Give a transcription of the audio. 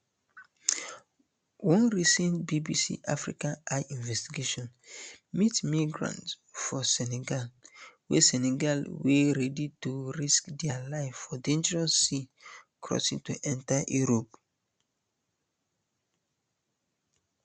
one recent bbc africa eye investigation meet migrants for senegal wey senegal wey ready to risk dia life for dangerous sea crossing to enta europe